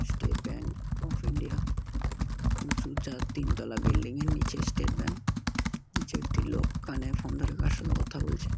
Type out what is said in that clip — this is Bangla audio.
স্টেট ব্যাঙ্ক অফ ইন্ডিয়া উচু চার তিন তলা বিল্ডিং - এর নিচে স্টেট ব্যাংক নিচে একটি লোক কানে ফোন ধরে কার সাথে কথা বলছে।